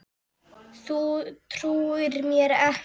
Þú trúir mér ekki?